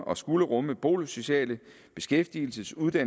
og skal rumme boligsociale beskæftigelsesmæssige